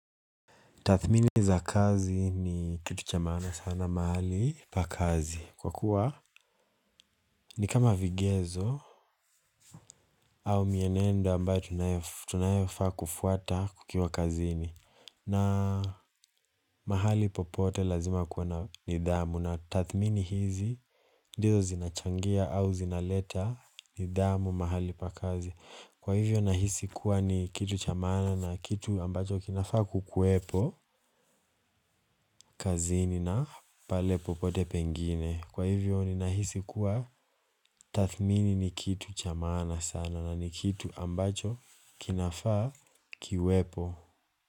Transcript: Tathmini za kazi ni kitu cha maana sana mahali pa kazi. Kwa kuwa ni kama vigezo au mienenda ambayo tunayofaa kufuata tukiwa kazini. Na mahali popote lazima kuwe na nidhamu. Na tathmini hizi ndizo zinachangia au zinaleta nidhamu mahali pa kazi. Kwa hivyo nahisi kuwa ni kitu cha maana na kitu ambacho kinafaa kukuwepo kazini na pale popote pengine. Kwa hivyo ninahisi kuwa tathmini ni kitu cha maana sana na ni kitu ambacho kinafaa kiwepo.